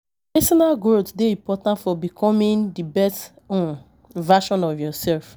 Peesonal growth dey important for becomming di best um version of yourself.